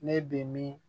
Ne bɛ min